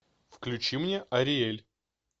включи мне ариэль